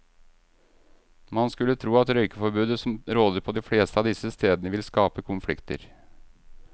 Man skulle tro at røykeforbudet som råder på de fleste av disse stedene ville skape konflikter.